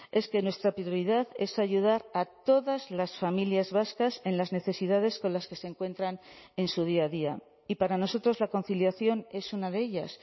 es que nuestra prioridad es ayudar a todas las familias vascas en las necesidades con las que se encuentran en su día a día y para nosotros la conciliación es una de ellas